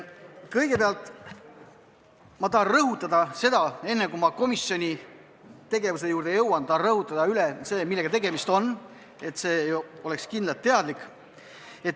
Kõigepealt, enne kui ma komisjoni tegevuse juurde jõuan, tahan rõhutada üle, millega tegemist on, et see oleks kindlalt teada.